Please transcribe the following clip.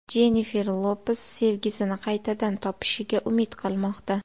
Jennifer Lopes sevgisini qaytadan topishiga umid qilmoqda.